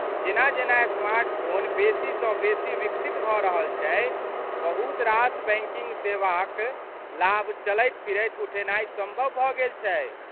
जेना जेना स्मार्टफोन बेसीसँ बेसी विकसित भऽ रहल छै, बहुत रास बैंकिंग सेवाक लाभ चलैत फिरैत उठेनाइ सम्भव भऽ गेल छै।